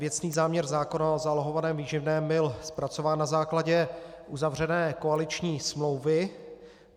Věcný záměr zákona o zálohovaném výživném byl zpracován na základě uzavřené koaliční smlouvy.